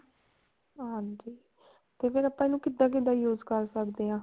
ਹਾਂਜੀ ਤੇ ਆਪਾਂ ਇਹਨੂੰ ਕਿੱਦਾਂ ਕਿੱਦਾਂ use ਕਰ ਸਕਦੇ ਹਾਂ